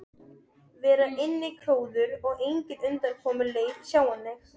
vera innikróuð og engin undankomuleið sjáanleg.